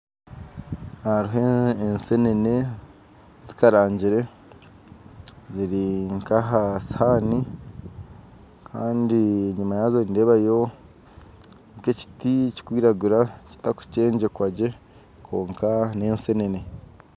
Hariho e'enseenene zikarangyire ziri nka aha sihani, Kandi enyima yazo nindeebayo nke ekyitti kyikwiragura kyitakukyengyekwagye kwonka n'ensenene.